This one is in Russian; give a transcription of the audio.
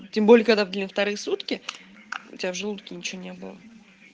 тем более когда блин вторые сутки у тебя в желудке ничего не было